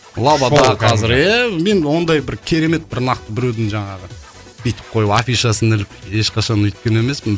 иә мен ондай бір керемет бір нақты біреудің жаңағы бүйтіп қойып афишасын іліп ешқашан өйткен емеспін